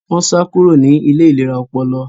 Wọn sá kúrò ní ilé ìlera ọpọlọ